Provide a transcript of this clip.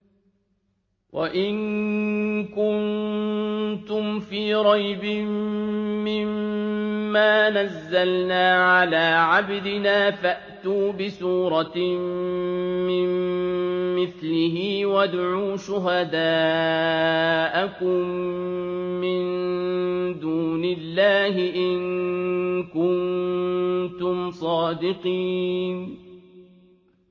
وَإِن كُنتُمْ فِي رَيْبٍ مِّمَّا نَزَّلْنَا عَلَىٰ عَبْدِنَا فَأْتُوا بِسُورَةٍ مِّن مِّثْلِهِ وَادْعُوا شُهَدَاءَكُم مِّن دُونِ اللَّهِ إِن كُنتُمْ صَادِقِينَ